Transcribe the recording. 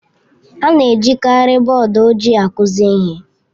A na-ejikarị bọọdụ ojii akụzi ihe.